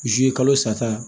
Zi kalo sa ta